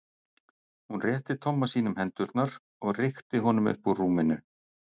Hún rétti Tomma sínum hendurnar og rykkti honum upp úr rúminu.